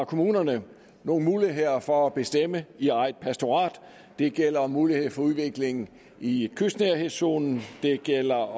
kommunerne nogle muligheder for at bestemme i eget pastorat det gælder muligheden for udvikling i kystnærhedszonen det gælder